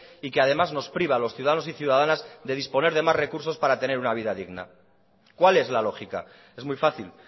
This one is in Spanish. y que además nos priva a los ciudadanos y ciudadanas de disponer de más recursos para tener una vida digna cuál es la lógica es muy fácil